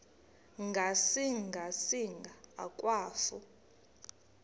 ngasinga singa akwafu